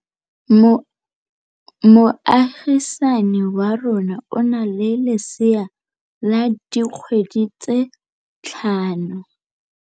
Moagisane wa rona o na le lesea la dikgwedi tse tlhano.